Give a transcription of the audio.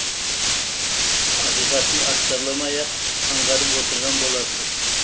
ақиқатын астарламай ақ аңғарып отырған боларсыз